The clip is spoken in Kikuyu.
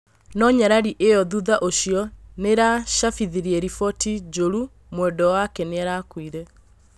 No nyarari ĩyo thutha ũcio nĩarachabithirie riboti njũru mwendwa wake nĩarakuire